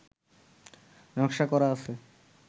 নকশা করা আছে